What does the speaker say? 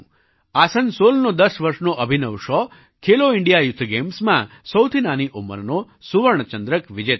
આસનસોલના દસ વર્ષના Abhinav Shaw Khelo India youth ગેમ્સમાં સૌથી નાની ઉંમરનો સુવર્ણ ચંદ્રક વિજેતા છે